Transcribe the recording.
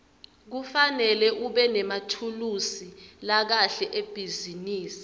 kufanele ubenemathulusi lakahle ebhizinisi